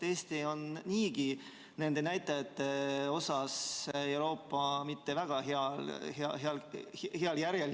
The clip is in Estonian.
Eesti on niigi nende näitajatega Euroopas mitte kuigi heal järjel, kui nii võib öelda.